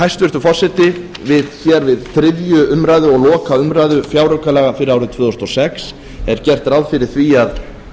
hæstvirtur forseti við þriðju umræðu og lokaumræðu fjáraukalaga fyrir árið tvö þúsund og sex er gert ráð fyrir því að